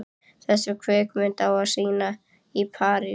Þessa kvikmynd á að sýna í París.